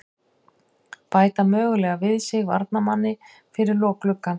Bæta mögulega við sig varnarmanni fyrir lok gluggans.